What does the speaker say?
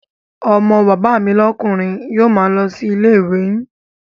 Ọmọ bàbá mi lókùnri yio ma lo si ilé ìwé yin